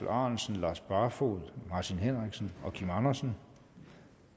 ahrendtsen lars barfoed martin henriksen kim andersen